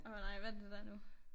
Åh hvad nej hvad er det der nu